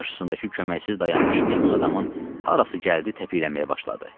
Qarşısındakı köməksiz dayanmış meymun adamın harası gəldi təpiyləməyə başladı.